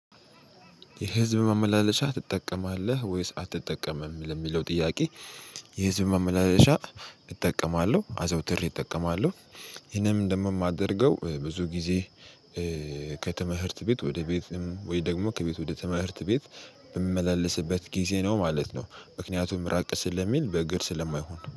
የህዝብ ማመላለሻ ትጠቀማለህ ወይስ አትጠቀምም ለሚለው ጥያቄ? የህዝብ መመላለሻ እጠቀማለሁ አዘውትሬ እጠቀማለሁ ይሄንም እንደምማደርገው ብዙ ጊዜ። ቤት ወደ ቤትም ወይ ደግሞ ከቤት ወደ ተመህርት ቤት በምመላለስበት ጊዜ ነው ማለት ነው ምክንያቱም ራቅ ስለሚል በእግር ስለማይሆን